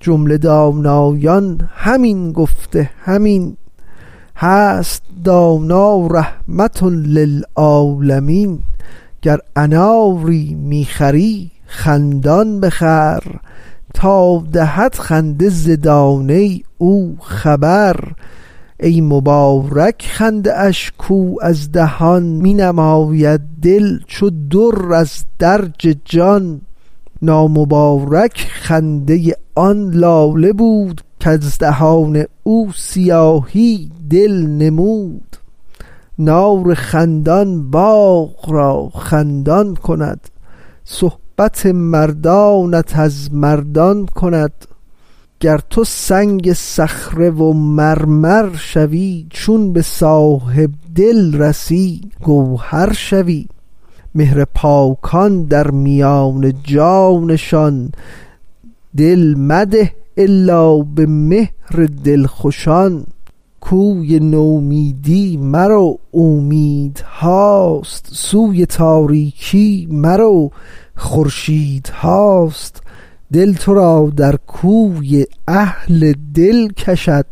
جمله دانایان همین گفته همین هست دانا رحمة للعالمین گر اناری می خری خندان بخر تا دهد خنده ز دانه او خبر ای مبارک خنده اش کو از دهان می نماید دل چو در از درج جان نامبارک خنده آن لاله بود کز دهان او سیاهی دل نمود نار خندان باغ را خندان کند صحبت مردانت از مردان کند گر تو سنگ صخره و مرمر شوی چون به صاحب دل رسی گوهر شوی مهر پاکان درمیان جان نشان دل مده الا به مهر دلخوشان کوی نومیدی مرو اومیدهاست سوی تاریکی مرو خورشیدهاست دل ترا در کوی اهل دل کشد